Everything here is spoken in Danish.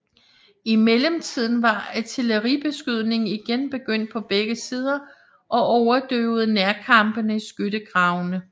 I mellemtiden var artilleribeskydningen igen begyndt på begge sider og overdøvede nærkampene i skyttegravene